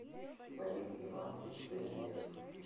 вадим иванович данилин